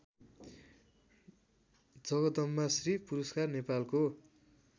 जगदम्बाश्री पुरस्कार नेपालको